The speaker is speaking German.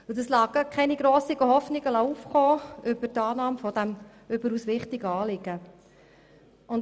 Dies lässt keine grossen Hoffnungen aufkommen auf eine Annahme dieses überaus wichtigen Anliegens.